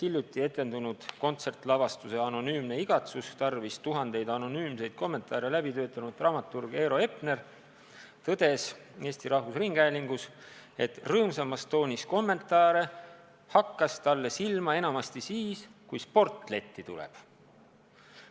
Hiljuti etendunud kontsertlavastuse "Anonüümne igatsus" tarvis tuhandeid anonüümseid kommentaare läbi töötanud dramaturg Eero Epner tõdes Eesti Rahvusringhäälingus, et rõõmsamas toonis kommentaare hakkas talle silma enamasti siis, kui sport letti on tulnud.